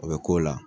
O bɛ k'o la